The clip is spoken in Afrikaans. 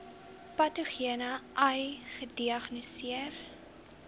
patogene ai gediagnoseer